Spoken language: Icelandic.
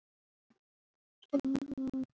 Ég vil ekki borða dýrin.